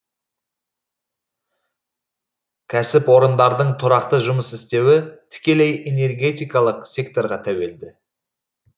кәсіпорындардың тұрақты жұмыс істеуі тікелей энергетикалық секторға тәуелді